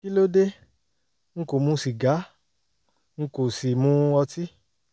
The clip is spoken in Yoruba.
kí ló dé? n kò mu sìgá n n kò sì mu ọtí